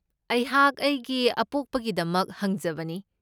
ꯑꯩꯍꯥꯛ ꯑꯩꯒꯤ ꯑꯄꯣꯛꯄꯒꯤꯗꯃꯛ ꯍꯪꯖꯕꯅꯤ꯫